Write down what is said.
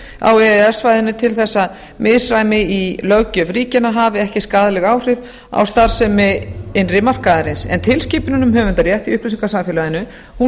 e e s svæðinu til þess að misræmi í löggjöf ríkjanna hafi ekki skaðleg áhrif á skaðsemi innri markaðarins en tilskipunin um höfundarrétt í upplýsingasamfélaginu